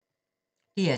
DR2